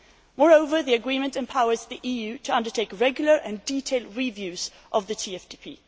Moreover, the agreement empowers the EU to undertake regular and detailed reviews of the TFTP.